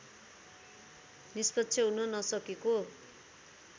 निष्पक्ष हुन नसकेको